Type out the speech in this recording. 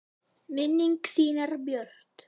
Minning þín er björt.